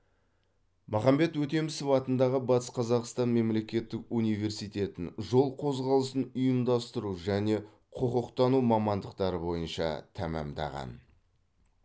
махамбет өтемісов атындағы батыс қазақстан мемлекеттік университетін жол қозғалысын ұйымдастыру және құқықтану мамандықтары бойынша тәмамдаған